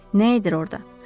Nə edir orda?